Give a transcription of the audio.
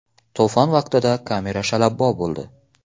To‘fon vaqtida kamera shalabbo bo‘ldi.